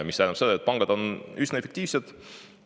See tähendab, et pangad on üsna efektiivsed.